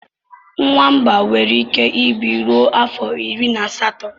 Nwamba nwere ike ịbi ruo afọ iri na asatọ.